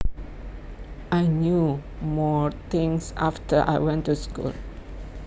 I knew more things after I went to school